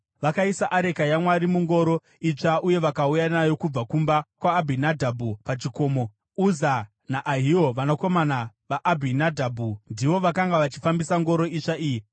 Vakaisa areka yaMwari mungoro itsva uye vakauya nayo kubva kumba kwaAbhinadhabhu, pachikomo. Uza naAhio, vanakomana vaAbhinadhabhu, ndivo vakanga vachifambisa ngoro itsva iyi